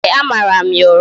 Ee, a mara m ya ụra